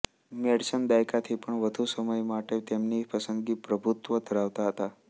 Madsen દાયકાથી પણ વધુ સમય માટે તેમની પસંદગી પર પ્રભુત્વ ધરાવતા હતા